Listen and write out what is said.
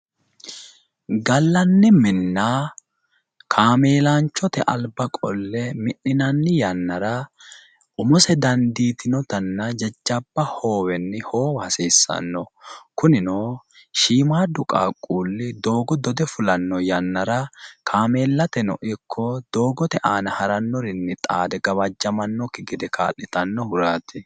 Gallanni minna kaameelaanchote alba qolle mi'ninanni yannara umose dandiitinotanna jajjabba hoowenni hoowa hasiissanno. Kunino shiimaaddu qaaqquulli doogo dode fulanno yannara kaameellateno ikko doogote aana harannorinni xaade gawajjamannokki gede kaa'litannohuraati.